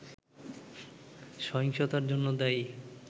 সহিংসতার জন্য দায়ী